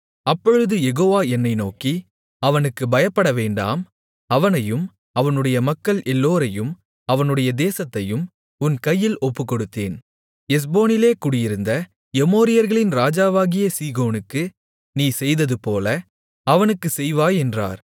அப்பொழுது யெகோவா என்னை நோக்கி அவனுக்குப் பயப்படவேண்டாம் அவனையும் அவனுடைய மக்கள் எல்லோரையும் அவனுடைய தேசத்தையும் உன் கையில் ஒப்புக்கொடுத்தேன் எஸ்போனிலே குடியிருந்த எமோரியர்களின் ராஜாவாகிய சீகோனுக்கு நீ செய்ததுபோல அவனுக்கும் செய்வாய் என்றார்